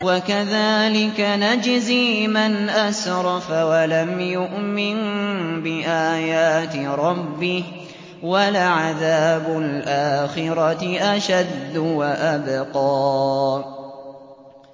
وَكَذَٰلِكَ نَجْزِي مَنْ أَسْرَفَ وَلَمْ يُؤْمِن بِآيَاتِ رَبِّهِ ۚ وَلَعَذَابُ الْآخِرَةِ أَشَدُّ وَأَبْقَىٰ